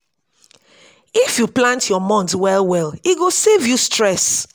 if yu plant yur month well well e go save you stress